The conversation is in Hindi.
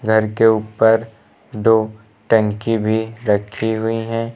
घर के ऊपर दो टंकी भी रखी हुई हैं।